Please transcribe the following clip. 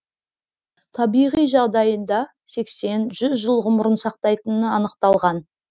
табиғи жағдайында сексен жүз жыл ғұмырын сақтайтыны анықталған